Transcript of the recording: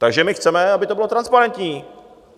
Takže my chceme, aby to bylo transparentní.